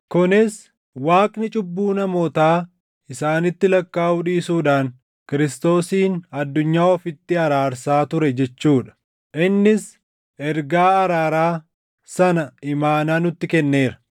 kunis, Waaqni cubbuu namootaa isaanitti lakkaaʼuu dhiisuudhaan Kiristoosiin addunyaa ofitti araarsaa ture jechuu dha. Innis ergaa araaraa sana imaanaa nutti kenneera.